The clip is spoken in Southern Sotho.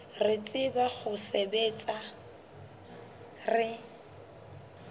re tsebang ho sebetsa re